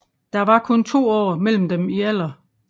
Der var kun to år mellem dem i alder